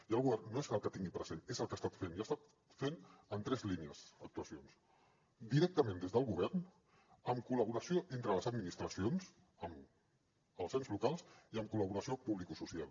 i el govern no és el que tingui present és el que ha estat fent i ha estat fent en tres línies actuacions directament des del govern en col·laboració entre les administracions amb els ens locals i en col·laboració publicosocial